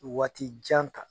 Waati jan kan